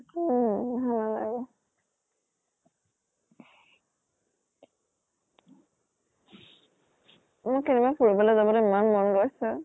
উম ভাল নালাগে। মোৰ কেইদিন মান ফুৰিবলৈ যাবলৈ ইমান মন গৈছে।